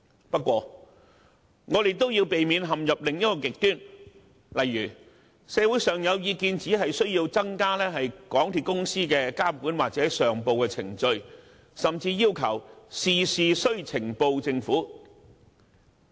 不過，我們也要避免陷入另一個極端，就是社會上可能有意見要求增加港鐵公司的監管或上報程序，甚至要求事事向政府呈報。